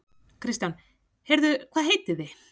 Kristján: Heyrðu hvað heitið þið?